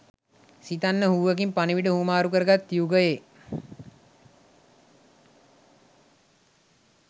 සිතන්න හූවකිං පණිවිඩ හුවමාරු කරගත් යුගයේ